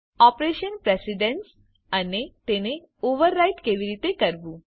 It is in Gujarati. ઓપરેટર પ્રેશીડેન્સ અને તેને ઓવર રાઇડ કેવી રીતે કરવું